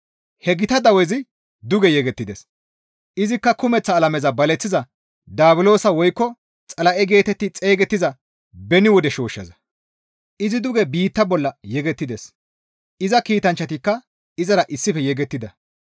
He gita dawezi duge yegettides; izikka kumeththa alameza baleththiza daabulosa woykko Xala7e geetetti xeygettiza beni wode shooshshaza; izi duge biitta bolla yegettides; iza kiitanchchatikka izara issife yegettida.